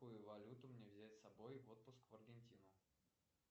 какую валюту мне взять с собой в отпуск в аргентину